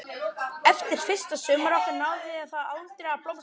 Eftir fyrsta sumarið okkar náði það aldrei að blómstra.